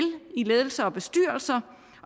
i ledelser og bestyrelser